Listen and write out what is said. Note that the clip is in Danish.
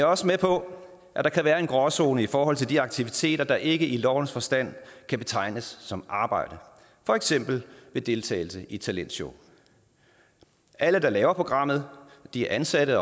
også med på at der kan være en gråzone i forhold til de aktiviteter der ikke i lovens forstand kan betegnes som arbejde for eksempel deltagelse i talentshow alle der laver programmet er ansatte